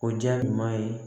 O jaa ɲuman ye